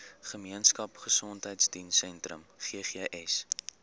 gemeenskap gesondheidsentrum ggs